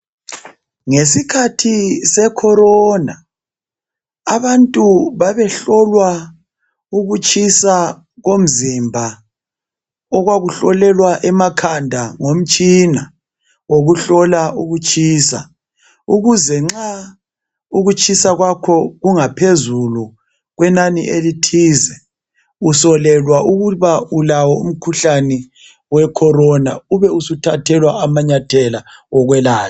Ngesikhathi sekhovidi abantu babehlolwa ukutshisa komzimba okwakuhlolelwa emakhanda ngomtshina wokuhlola ukutshisa ukuze nxa ukutshisa kwakho kungaphezu kokutshisa kwenani elithize usolelwa ukuba ulawo umkhuhlane wekhovidi ubusuthathelwa amanyathelo okwelatshwa.